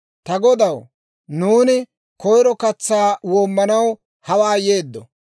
«Ta godaw, nuuni koyro katsaa woomanaw hawaa yeeddo;